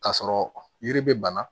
K'a sɔrɔ yiri be bana